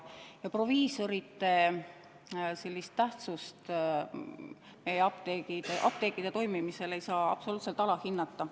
Proviisorite tähtsust meie apteekide toimimisel ei saa absoluutselt alahinnata.